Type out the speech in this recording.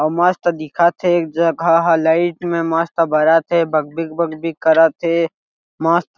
वह मस्त दिखत हे एक जगह लाइट में मस्त बरत हे बग बिग बग बिग करत हे मस्त--